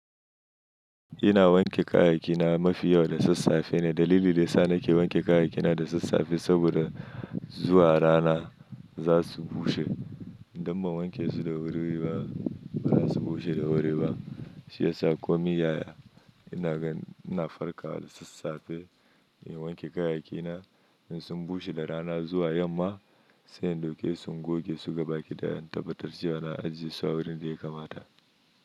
Ina wanke kayayyakina mafi yawa da sassafe ne. Dalili da yasa nake wanke kayayyakina da sassafe saboda zuwa rana za su bushe. Idan ban wanke su da wuri ba, ba zasu bushe da wuri ba. Shiyasa komai yaya ina farka da sassafe, ina wanke kayayyakina. In sun bushe da rana zuwa yamma, sai in ɗauke su goge su gabaki daya, in tabatar cewa na ajiye su a wurin da ya kamata.